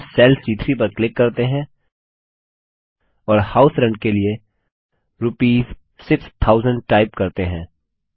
अब हम सेल सी3 पर क्लिक करते हैं और हाउस रेंट के लिए रूपीस 6000 टाइप करते हैं